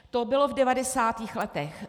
To bylo v 90. letech.